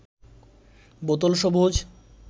বোতল সবুজ